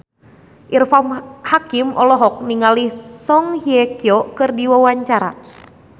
Irfan Hakim olohok ningali Song Hye Kyo keur diwawancara